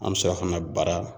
An mi sɔrɔ ka na bara la